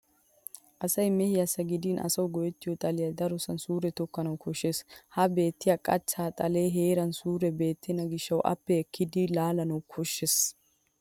Asay mehiyassi gidin asawu go'ettiyo xaliya darosan suure tokkanawu koshshes. Ha beettiya qachche xalee heeran suure beettenna gishshawu appe ekkidi laalanawu koshshes.